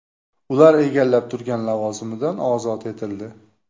Ular egallab turgan lavozimidan ozod etildi.